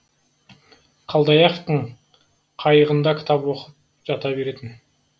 қалдаяқовтың қайығында кітап оқып жата беретін